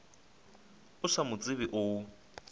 o sa mo tsebe o